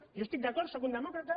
jo hi estic d’acord sóc un demòcrata